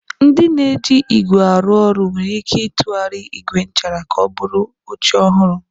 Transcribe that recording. Ndị na-eji ígwè arụ ọrụ nwere ike ịtụgharị ígwè nchara ka ọ bụrụ oche ọhụrụ.